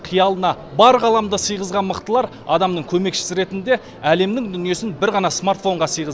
қиялына бар ғаламды сыйғызған мықтылар адамның көмекшісі ретінде әлемнің дүниесін бір ғана смартофонға сыйғыз